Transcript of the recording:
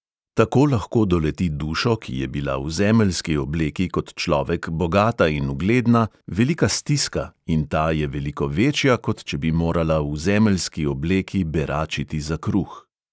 Tako lahko doleti dušo, ki je bila v zemeljski obleki kot človek bogata in ugledna, velika stiska, in ta je veliko večja, kot če bi morala v zemeljski obleki beračiti za kruh.